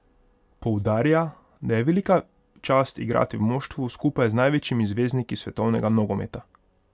Poudarja, da je velika čast igrati v moštvu skupaj z največjimi zvezdniki svetovnega nogometa.